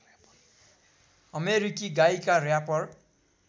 अमेरिकी गायिका र्‍यापर